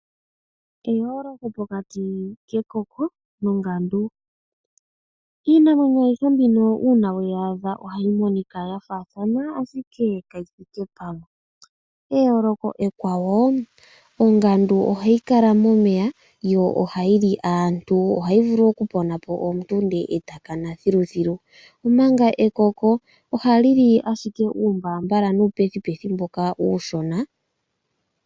Opu na eyooloko pokati kekoko nongandu. Iinamwenyo ayihe mbino uuna weyi adha ohayi monika ya faathana, ashike kayi thike pamwe. Eyooloko ekwawo; ongandu ohayi kala momeya yo ohayi li aantu. Ohayi vulu okupona po omuntu e ta kana thiluthilu, omanga ekoko ohali li ashike uumbaambala nuupethipethi mboka uushona.